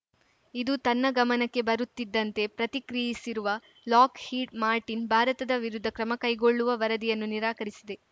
ಇದು ತನ್ನ ಗಮನಕ್ಕೆ ಬರುತ್ತಿದ್ದಂತೆ ಪ್ರತಿಕ್ರಿಯಿಸಿರುವ ಲಾಕ್‌ಹೀಡ್‌ ಮಾರ್ಟಿನ್‌ ಭಾರತದ ವಿರುದ್ಧ ಕ್ರಮ ಕೈಗೊಳ್ಳುವ ವರದಿಗಳನ್ನು ನಿರಾಕರಿಸಿದೆ